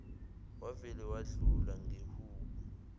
wavele wadlula ngehubo